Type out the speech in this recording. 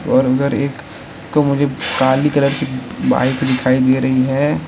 और उधर एक तो मुझे काली कलर की बाइक दिखाई दे रही है।